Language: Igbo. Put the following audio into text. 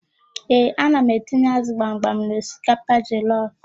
Ee, ana m etinye ázụ̀ gbamgbam n'osikapa jọlọf.